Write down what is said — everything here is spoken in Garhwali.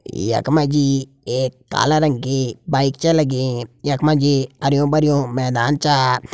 यख मजी एक काला रंग की बाइक च लगीं। यख मकी हरयुं भरयुं मैदान चा।